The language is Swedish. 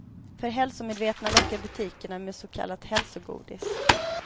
För hälsomedvetna lockar butikerna med så kallat hälsogodis.